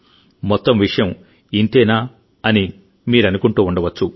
మొత్తం విషయం ఇంతేనా అని మీరనుకుంటూ ఉండవచ్చు